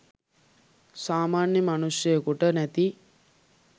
සාමාන්‍ය මනුෂ්යයෙකුට නැති